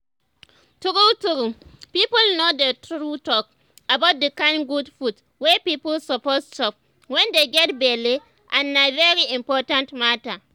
true true people no dey too talk about the kind good food wey people suppose chop wen dey get belle